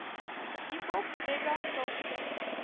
hiphop reggae gospel